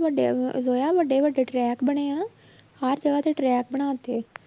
ਵੱਡਿਆਂ ਜੋਇਆ ਵੱਡੇ ਵੱਡੇ track ਬਣੇ ਆਂ ਹਰ ਤਰ੍ਹਾਂ ਦੇ track ਬਣਾ ਤੇ